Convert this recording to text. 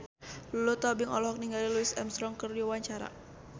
Lulu Tobing olohok ningali Louis Armstrong keur diwawancara